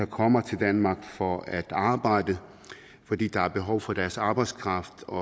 kommer til danmark for at arbejde fordi der er behov for deres arbejdskraft og